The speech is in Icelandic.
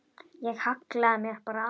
Ég hallaði mér bara aðeins.